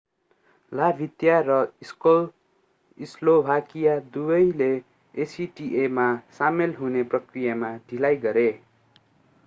Latvia र Slovakia दुबैले acta मा सामेल हुने प्रक्रियामा ढिलाइ गरे